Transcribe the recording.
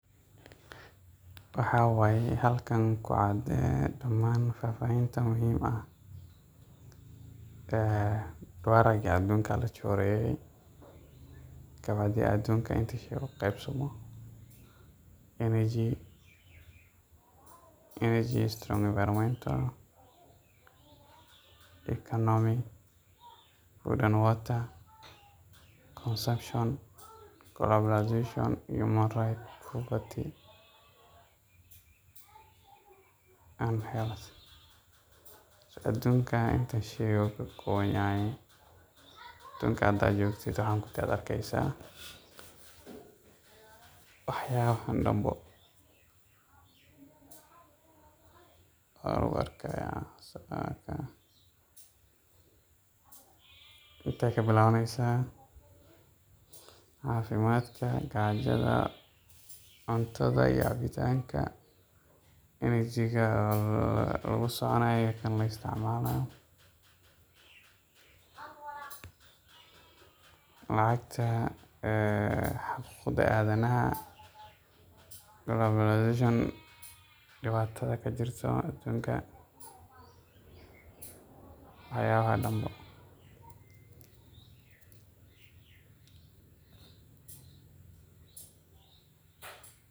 Waxaye halkan kucaad dhaman fafahinta muhim ah, ee doreeyka cadeenka Aya la chooreye kawadah aduunka aya energy enviromentantaleconomicwater consumption human right and health aduunka inta sheey oo kaowan wadanka handa joktid waxyaban oo dhan bo aya u arkaya intakabilawaneysah cafimadka kajada cuntatha iyo cabitanga inajika lakusiconayoh kan la isticmalayo lacagta xerfada adanaha koloblazarioondiwatatha kajirtoh aduunka waxyabaha dhan boo .